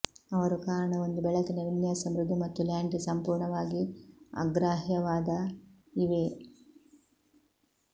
ಅವರು ಕಾರಣ ಒಂದು ಬೆಳಕಿನ ವಿನ್ಯಾಸ ಮೃದು ಮತ್ತು ಲಾಂಡ್ರಿ ಸಂಪೂರ್ಣವಾಗಿ ಅಗ್ರಾಹ್ಯವಾದ ಇವೆ